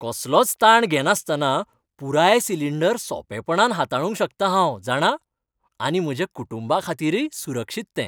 कसलोच ताण घेनासतना पुराय सिलिंडर सोंपेपणान हाताळूंक शकतां हांव, जाणा? आनी म्हज्या कुटुंबाखातीरय सुरक्षीत तें.